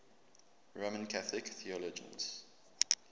roman catholic theologians